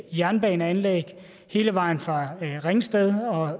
jernbaneanlæg hele vejen fra ringsted